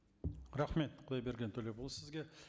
рахмет құдайберген төлепұлы сізге